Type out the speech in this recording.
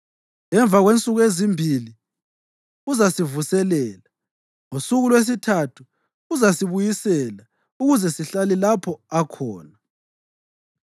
Emva kwensuku ezimbili uzasivuselela; ngosuku lwesithathu uzasibuyisela ukuze sihlale lapho akhona.